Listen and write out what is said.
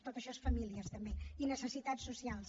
tot això és famílies també i necessitats socials